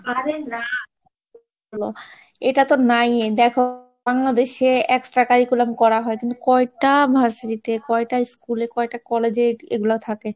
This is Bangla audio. আরে না, এটা তো নাই, দেখো বাংলাদেশে extra curriculum করা হয়, কিন্তু কয়টা varsity তে কয়টা school এ কয়টা college এগুলো থাকে?